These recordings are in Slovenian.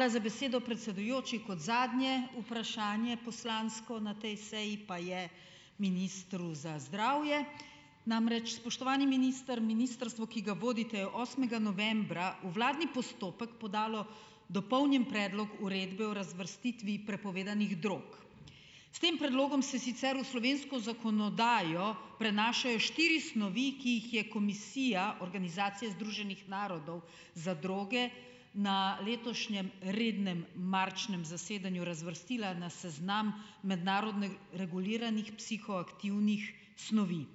Hvala za besedo, predsedujoči, kot zadnje vprašanje poslansko na tej seji pa je ministru za zdravje. Namreč, spoštovani minister, ministrstvo, ki ga vodite, je osmega novembra v vladni postopek podalo dopolnjen predlog uredbe o razvrstitvi prepovedanih drog. S tem predlogom se sicer v slovensko zakonodajo prenašajo štiri snovi, ki jih je komisija Organizacije združenih narodov za droge na letošnjem rednem marčnem zasedanju razvrstila na seznam mednarodno reguliranih psihoaktivnih snovi.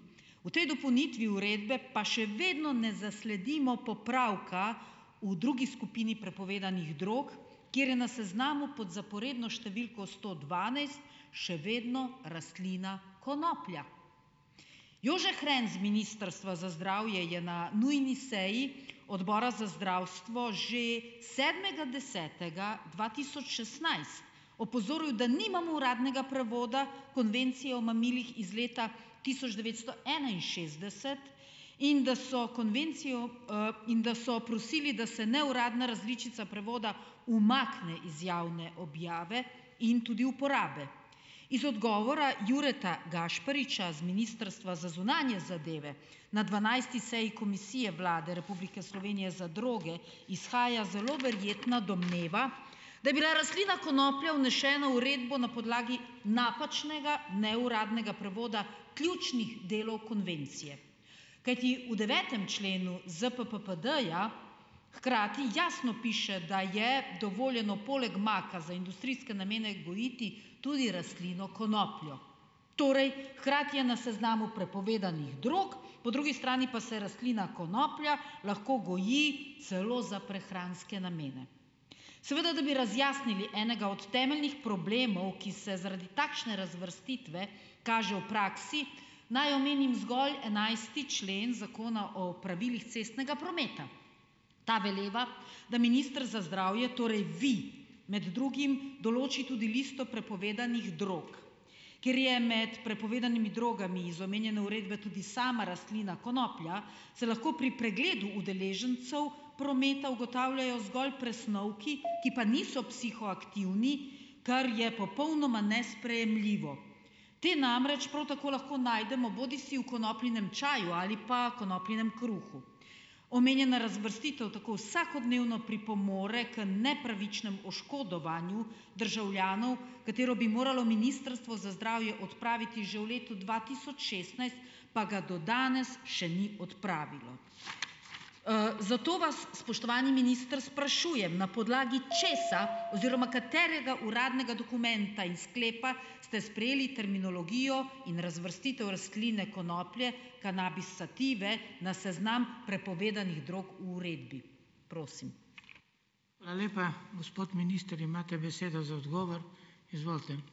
V tej dopolnitvi uredbe pa še vedno ne zasledimo popravka v drugi skupini prepovedanih drog, kjer je na seznamu pod zaporedno številko sto dvanajst še vedno rastlina konoplja. Jože Hren z ministrstva za zdravje je na nujni seji odbora za zdravstvo že sedmega desetega dva tisoč šestnajst opozoril, da nimamo uradnega prevoda konvencije o mamilih iz leta tisoč devetsto enainšestdeset in da so konvencijo, in da so prosili, da se neuradna različica prevoda umakne iz javne objave in tudi uporabe. Iz odgovora Jureta Gašpariča z ministrstva za zunanje zadeve na dvanajsti seji komisije Vlade Republike Slovenije za droge izhaja zelo verjetno domneva, da je bila rastlina konoplja vnesena uredbo na podlagi napačnega neuradnega prevoda ključnih delov konvencije, kajti v devetem členu ZPPPD-ja hkrati jasno piše, da je dovoljeno poleg maka za industrijske namene gojiti tudi rastlino konopljo, torej hkrati je na seznamu prepovedanih drog, po drugi strani pa se rastlina konoplja lahko goji celo za prehranske namene. Seveda da bi razjasnili enega od temeljnih problemov, ki se zaradi takšne razvrstitve kaže v praksi, naj omenim zgolj enajsti člen zakona o pravilih cestnega prometa. Ta veleva, da minister za zdravje, torej vi, med drugim določi tudi listo prepovedanih drog, ker je med prepovedanimi drogami iz omenjene uredbe tudi sama rastlina konoplja, se lahko pri pregledu udeležencev prometa ugotavljajo zgolj presnovki, ki pa niso psihoaktivni, kar je popolnoma nesprejemljivo. Te namreč prav tako lahko najdemo bodisi v konopljinem čaju ali pa konopljinem kruhu. Omenjena razvrstitev tako vsakodnevno pripomore k nepravičnemu oškodovanju državljanov, katero bi moralo ministrstvo za zdravje odpraviti že v letu dva tisoč šestnajst, pa ga do danes še ni odpravilo, zato vas, spoštovani minister, sprašujem, na podlagi česa oziroma katerega uradnega dokumenta in sklepa ste sprejeli terminologijo in razvrstitev rastline konoplje kanabis sative na seznam prepovedanih drog v uredbi. Prosim.